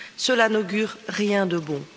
Cela n'augure rien de bon.